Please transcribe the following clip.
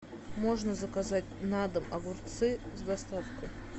можно заказать на дом огурцы с доставкой